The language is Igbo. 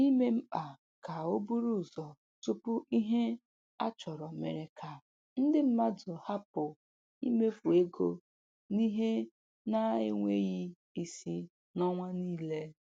Ime mkpa ka o buru ụzọ tupu ihe a chọrọ mere ka ndị mmadụ hapụ imefu ego n'ihe na-enweghị isi n'ọnwa niile.